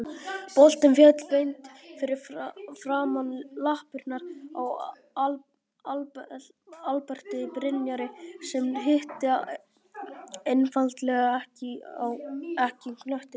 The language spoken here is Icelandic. Boltinn féll beint fyrir framan lappirnar á Alberti Brynjari sem hitti einfaldlega ekki knöttinn.